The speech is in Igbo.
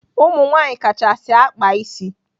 Ụmụnwaanyị kachasị akpa ịsị.